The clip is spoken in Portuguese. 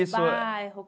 Bairro?